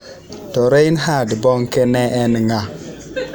To Reinhard Bonke ne en ng’a?